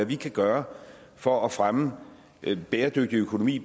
vi kan gøre for at fremme en bæredygtig økonomi